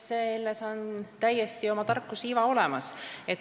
Selles on täiesti oma tarkuseiva olemas.